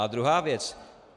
A druhá věc.